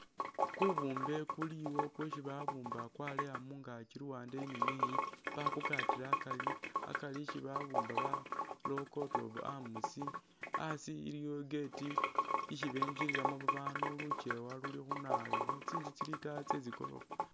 Kubumbe kuliwo kwesi babumba kwaaleya mungaakyi luwande eyi ni neyi bakukata akaari, akaari isi babumba barawo coat of arms, asi iliwo i'gate isi begililamu babanu luchewa luli khunawoyukhwo, tsinzu tsili itaayi tsetsi goorofa